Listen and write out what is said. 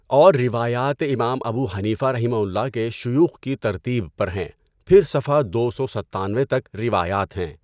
اور روایات امام ابو حنیفہؒ کے شیوخ کی ترتیب پر ہیں۔ پھر صفحہ دو سو ستانوے تک روایات ہیں۔